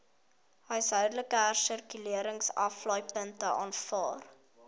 huishoudelike hersirkuleringsaflaaipunte aanvaar